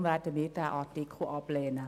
Deshalb werden wir den Artikel ablehnen.